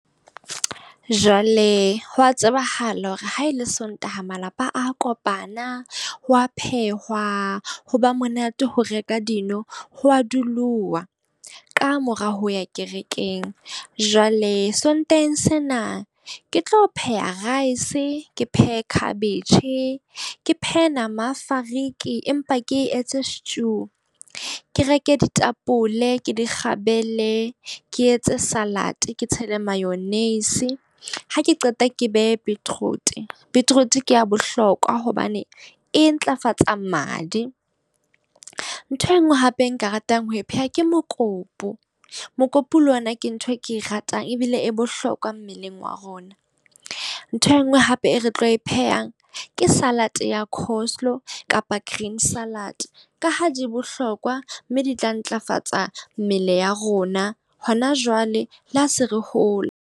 Jwale ho wa tsebahala hore ha e le Sontaha, malapa a kopana ho wa phehwa ho ba monate ho reka dino. Ho a duluwa, ka mora ho ya kerekeng. Jwale Sontaheng sena, ke tlo pheha rice ke phehe khabetje, ke phehe nama fariki, empa ke e etse stew. Ke reke ditapole ke di kgabele, ke etse salad, ke tshele mayonnaise. Ha ke qeta ke behe beetroot, beetroot ke ya bohlokwa hobane e ntlafatsa madi. Ntho e nngwe hape e nka ratang ho pheha, ke mokopu. Mokopu le wena ke ntho e ke e ratang ebile e bohlokwa mmeleng wa rona. Ntho e nngwe hape e re tlo e phehang ke salad ya coselow kapa green salad ka ha di bohlokwa, mme di tla ntlafatsa mmele ya rona hona jwale le ha se re hola.